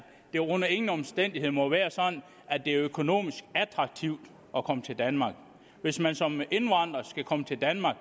det under ingen omstændigheder må være sådan at det er økonomisk attraktivt at komme til danmark hvis man som indvandrer skal komme til danmark